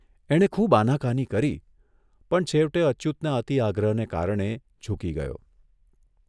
એણે ખુબ આનાકાની કરી પણ છેવટે અચ્યુતના અતિ આગ્રહને કારણે ઝૂકી ગયો.